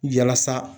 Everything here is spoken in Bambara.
Yalasa